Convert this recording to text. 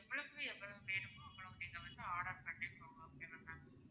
எவ்வளவுக்கு எவ்வளவு வேணுமோ அவ்வளவுக்கு நீங்க வந்து order பண்ணிக்கோங்க okay வா ma'am